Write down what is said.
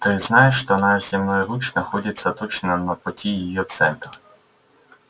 ты знаешь что наш земной луч находится точно на пути её центра